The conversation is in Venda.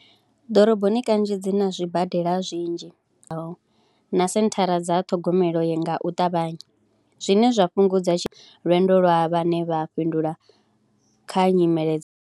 Ḓoroboni kanzhi dzi na zwibadela zwinzhi na senthara dza ṱhogomelo u ya nga u ṱavhanya zwine zwa fhungudza tshi, lwendo lwa vhane vha fhindula kha nyimele dza.